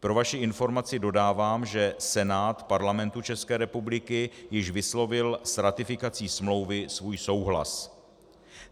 Pro vaši informaci dodávám, že Senát Parlamentu České republiky již vyslovil s ratifikací smlouvy svůj souhlas.